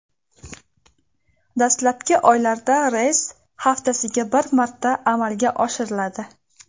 Dastlabki oylarda reys haftasiga bir marta amalga oshiriladi.